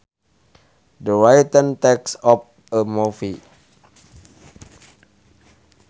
The written text of a movie